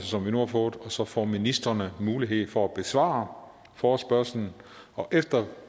som vi nu har fået og så får ministrene mulighed for at besvare forespørgslen og efter